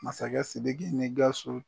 Masakɛ sidiki ni gawusu